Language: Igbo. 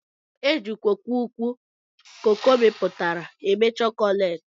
Eji coco ukwu coco miputara eme chokolate.